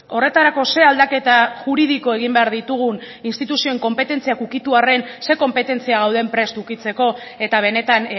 horretarako ze aldaketa juridiko egin behar ditugun instituzioen konpetentziak ukitu arren ze konpetentzia gauden prest ukitzeko eta benetan